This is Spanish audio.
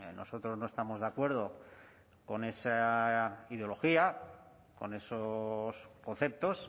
nosotros no estamos de acuerdo con esa ideología con esos conceptos